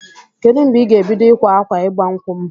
Kedụ mgbe ị ga-ebido ịkwa akwa ịgba nkwụ m?